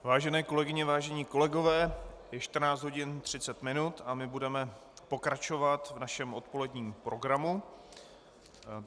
Vážené kolegyně, vážení kolegové, je 14 hodin 30 minut a my budeme pokračovat v našem odpoledním programu.